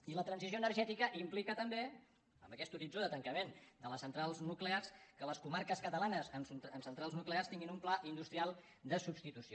i la transició energètica implica també amb aquest horit·zó de tancament de les centrals nuclears que les comar·ques catalanes amb centrals nuclears tinguin un pla in·dustrial de substitució